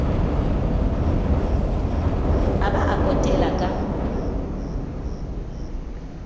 a ba a potela ka